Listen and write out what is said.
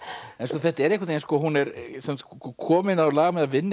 þetta er einhvern veginn hún er komin á lag með að vinna